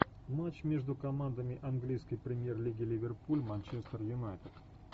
матч между командами английской премьер лиги ливерпуль манчестер юнайтед